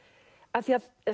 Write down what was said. af því að